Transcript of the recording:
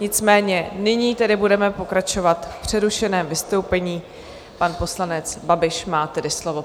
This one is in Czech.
Nicméně nyní tedy budeme pokračovat v přerušeném vystoupení - pan poslanec Babiš má tedy slovo.